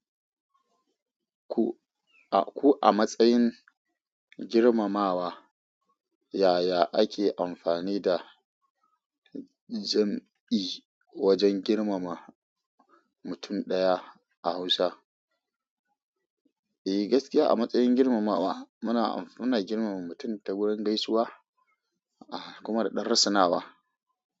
Ku-a-ku a matsayin girmamawa, yaya ake amfani da jam'i wajen girmama mutum ɗaya a Hausa? Eh gaskiya a matsayin girmamawa muna, muna girmama mutum ta gurin gaisuwa kuma da ɗan rusunawa.